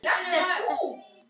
Þetta ástand er kallað ölvun.